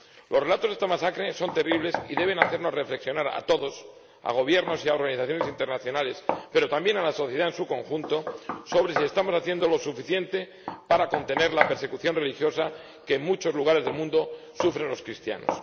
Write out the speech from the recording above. Los relatos de esta masacre son terribles y deben hacernos reflexionar a todos, a Gobiernos y a organizaciones internacionales, pero también a la sociedad en su conjunto, sobre si estamos haciendo lo suficiente para contener la persecución religiosa que, en muchos lugares del mundo, sufren los cristianos.